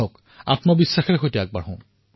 আত্মবিশ্বাসেৰে সৈতে আগুৱাই যাব লাগে